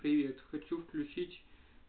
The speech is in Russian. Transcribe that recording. привет хочу включить